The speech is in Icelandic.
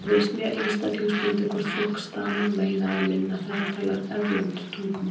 Það virðist mjög einstaklingsbundið hvort fólk stamar meira eða minna þegar það talar erlend tungumál.